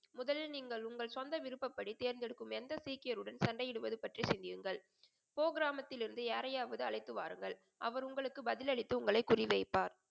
முதலில் நீங்கள் உங்கள் சொந்த விருப்படி தேர்ந்து எடுக்கும் எந்த சீக்கியருடன் சண்டையிடுவது பற்றி சிந்தியுங்கள் கோ கிராமத்தில்லிருந்து யாரையாவது அழைத்து வாருங்கள். அவர் உங்களுக்கு பதில் அளித்து உங்களை குறிவைப்பார்.